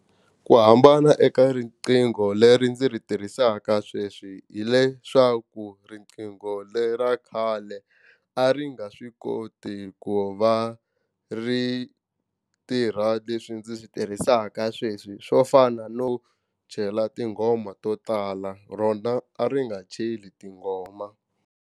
Ku hambana eka riqingho leri ndzi ri tirhisaka sweswi hileswaku riqingho le ra khale a ri nga swi koti ku va ri tirha leswi ndzi swi tirhisaka sweswi swo fana no chela tinghoma to tala rona a ri nga cheli tinghoma.